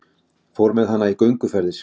Fór með hana í gönguferðir.